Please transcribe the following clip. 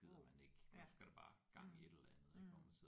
Wow ja mh mh